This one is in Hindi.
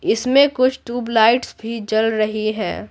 इसमें कुछ ट्यूबलाइट्स भी जल रही है।